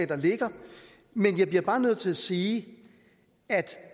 der ligger men jeg bliver bare nødt til at sige at